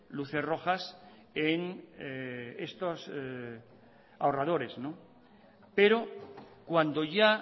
luces rojas en estos ahorradores pero cuando ya